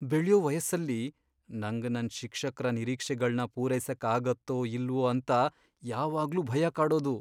ಬೆಳ್ಯೋ ವಯಸ್ಸಲ್ಲಿ, ನಂಗ್ ನನ್ ಶಿಕ್ಷಕ್ರ ನಿರೀಕ್ಷೆಗಳ್ನ ಪೂರೈಸಕ್ ಆಗತ್ತೋ ಇಲ್ವೋ ಅಂತ ಯಾವಾಗ್ಲೂ ಭಯ ಕಾಡೋದು.